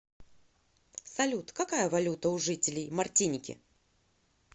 салют какая валюта у жителей мартиники